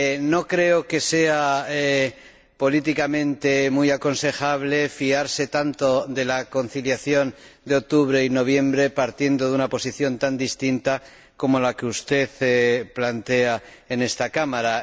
No creo que sea políticamente muy aconsejable fiarse tanto del procedimiento de conciliación de octubre y noviembre partiendo de una posición tan distinta como la que usted plantea en esta Cámara.